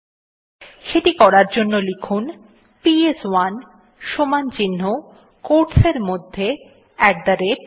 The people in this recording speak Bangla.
সেটি করার জন্য লিখুন পিএস1 equal টো quotes এর মধ্যে আত থে রাতে